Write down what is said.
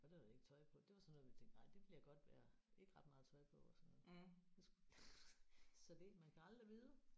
Og det havde vi ikke tøj på det var sådan noget vi tænkte nej det bliver godt vejr ikke ret meget tøj på og sådan noget det skulle så det man kan aldrig vide